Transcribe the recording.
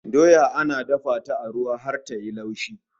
Doya ana dafa ta a ruwa har ta yi laushi